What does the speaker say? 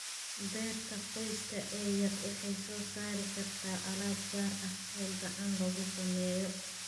Beerta qoyska ee yar waxay soo saari kartaa alaab gaar ah, oo gacan lagu sameeyo.